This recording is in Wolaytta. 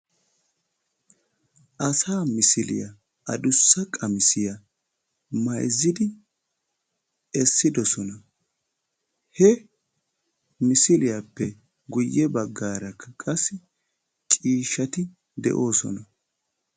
asaa misiliyaa addussa qamissiya mayzziidi essidoosona. he misiliyappe guyye baggaarakka qassi ciishshati de'oosona.